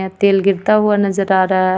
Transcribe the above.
यहाँ तेल गिरता हुआ नजर आ रहा हे.